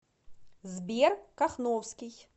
сбер кахновский